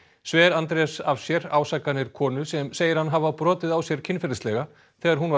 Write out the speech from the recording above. sver Andrés af sér ásakanir konu sem segir hann hafa brotið á sér kynferðislega þegar hún var